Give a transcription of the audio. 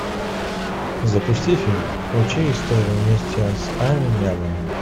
запусти фильм учи историю вместе с ам нямом